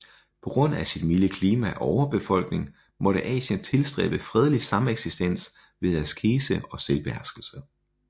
På grund af sit milde klima og overbefolkning måtte Asien tilstræbe fredelig sameksistens ved askese og selvbeherskelse